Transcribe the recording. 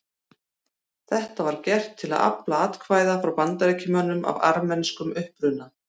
Þetta var gert til að afla atkvæða frá Bandaríkjamönnum af armenskum uppruna.